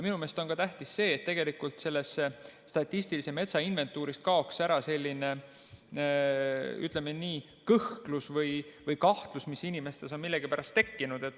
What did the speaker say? Minu meelest on tähtis ka see, et selles statistilises metsainventuuris kaoks ära selline, ütleme nii, kõhklus või kahtlus, mis inimestes on millegipärast tekkinud.